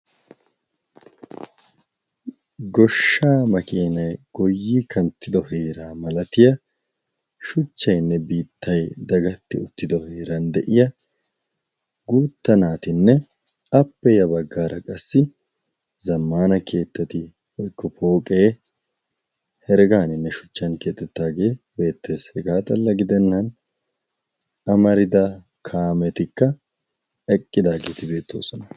Goshshaa makiinay goyyi kanttido heeraa malatiya shuchchayinne biittay dagatti uttida heeran de'iya guutta naatinne appe ya baggaara qassi zammana keettati woykko pooqee heregaaninne shuchchan keexettidaagee beettes. Hegaa xalla gidennaani amarida kaametikka eqqidaageti beettoosona.